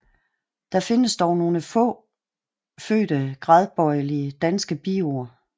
Der findes dog nogle få fødte gradbøjelige danske biord